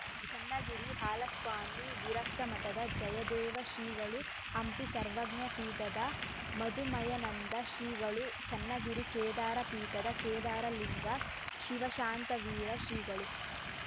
ಚನ್ನಗಿರಿ ಹಾಲಸ್ವಾಮಿ ವಿರಕ್ತಮಠದ ಜಯದೇವ ಶ್ರೀಗಳು ಹಂಪಿ ಸರ್ವಜ್ಞ ಪೀಠದ ಮದುಮಯನಂದ ಶ್ರೀಗಳು ಚನ್ನಗಿರಿ ಕೇದಾರ ಪೀಠದ ಕೇದಾರಲಿಂಗ ಶಿವಶಾಂತವೀರ ಶ್ರೀಗಳು